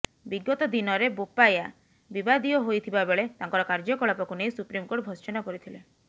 ବିଗତ ଦିନରେ ବୋପାୟା ବିବାଦୀୟ ହୋଇଥିବା ବେଳେ ତାଙ୍କର କାର୍ଯ୍ୟକଳାପକୁ ନେଇ ସୁପ୍ରିମକୋର୍ଟ ଭର୍ତ୍ସନା କରିଥିଲେ